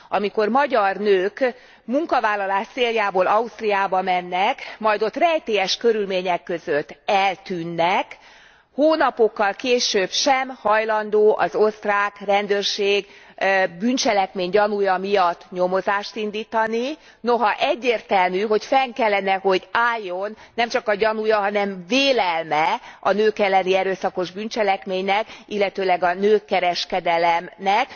Amikor magyar nők munkavállalás céljából Ausztriába mennek, majd ott rejtélyes körülmények között eltűnnek, hónapokkal később sem hajlandó az osztrák rendőrség bűncselekmény gyanúja miatt nyomozást indítani, noha egyértelmű, hogy fenn kellene hogy álljon nemcsak a gyanúja, hanem vélelme a nők elleni erőszakos bűncselekménynek, illetőleg a nőkereskedelemnek.